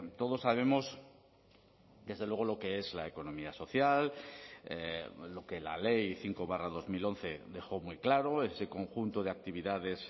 todos sabemos desde luego lo que es la economía social lo que la ley cinco barra dos mil once dejó muy claro ese conjunto de actividades